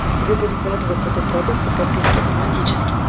тебе будет вкладываться этот продукт по подписке автоматически